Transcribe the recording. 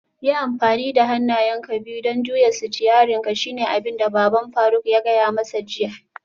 Yi amfani da hannayenka biyu don juya sitiyarinka shine abinda baban faruk ya gaya masa jiya